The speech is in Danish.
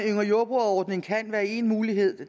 yngre jordbrugere ordning kan være en mulighed